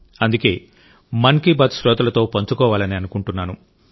అందుకే మన్ కీ బాత్ శ్రోతలతో పంచుకోవాలని అనుకున్నాను